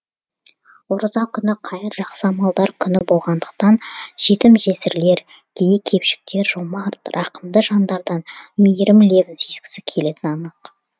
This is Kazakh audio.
ораза күні қайыр жақсы амалдар күні болғандықтан жетім жесірлер кедей кепшіктер жомарт рақымды жандардан мейірім лебін сезгісі келетіні анық